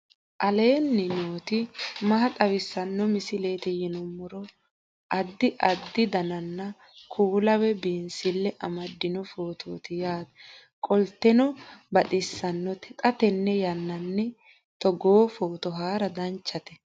aleenni nooti maa xawisanno misileeti yinummoro addi addi dananna kuula woy biinsille amaddino footooti yaate qoltenno baxissannote xa tenne yannanni togoo footo haara danchate